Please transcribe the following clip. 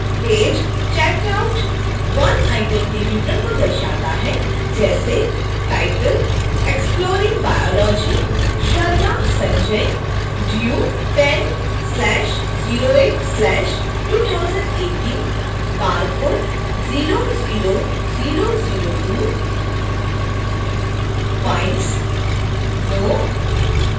page checked out 1 item के विवरण को दर्शाता है जैसे